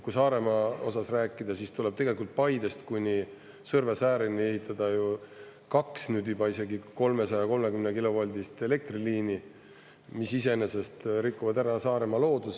Kui Saaremaa osas rääkida, siis tuleb tegelikult Paidest kuni Sõrve säärini ehitada kaks isegi 330-kilovoldist elektriliini, mis iseenesest rikuvad ära Saaremaa looduse.